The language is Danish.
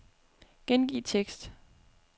Gengiv tekst.